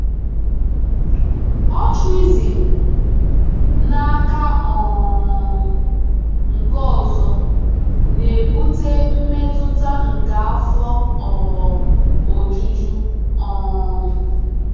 Altruism, n’aka um nke ọzọ, na-ebute mmetụta nke afọ um ojuju. um